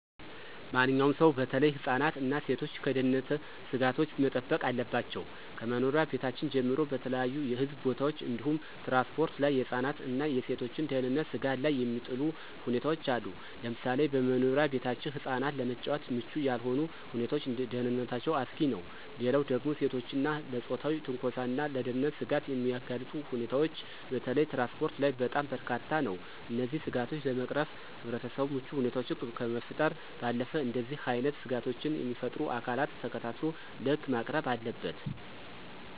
ማንኛውም ሰው በተለይ ህፃናት እና ሴቶች ከደህንነት ስጋቶች መጠበቅ አለባቸው። ከመኖሪያ ቤታችን ጀምሮ በተለያዩ ህዝብ ቦታዎች እንዲሁም ትራንስፖርት ላይ የህፃናትን እና የሴቶችን ደህንነት ስጋት ላይ የሚጥሉ ሁኔታዎች አሉ፤ ለምሳሌ በመኖሪያ ቤታችን ህፃናት ለመጫወት ምቹ ያልሆኑ ሁኔታዎች ለደህንነታቸው አስጊ ነው። ሌላው ደግሞ ሴቶችን ለፆታዊ ትንኮሳና ለደህንነት ስጋት የሚያጋልጡ ሁኔታዎች በተለይ ትራንስፖርት ላይ በጣም በርካታ ነው። እነዚህን ስጋቶች ለመቅረፍ ህብረተሰቡ ምቹ ሁኔታዎችን ከመፍጠር ባለፈ እንደዚህ አይነት ስጋቶችን የሚፈጥሩ አካላትን ተከታትሎ ለህግ ማቅረብ አለበት።